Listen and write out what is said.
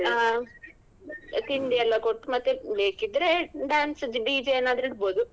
ಆಹ್ ತಿಂಡಿಯೆಲ್ಲ ಕೊಟ್ಟು ಮತ್ತೆ ಬೇಕಿದ್ರೆ dance DJ ಏನಾದ್ರೂ ಇಡ್ಬಹುದು.